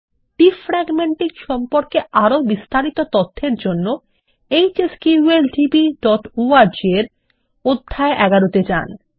defragmenting সম্পর্কে আরও তথ্যের জন্য hsqldborg এর অধ্যায় ১১ তে যান